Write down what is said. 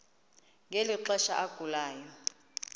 ngeli xesha agulayo